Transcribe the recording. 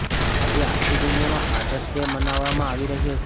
આજે આખી દુનિયામાં ફાધર્સ ડે મનાવવામાં આવી રહ્યો છે